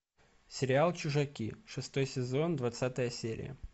сериал чужаки шестой сезон двадцатая серия